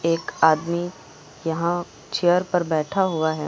एक आदमी यहां चेयर पर बैठा हुआ है।